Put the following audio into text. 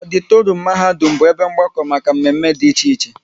Ọditorum mahadum bụ ebe mgbakọ maka mme mme dị iche iche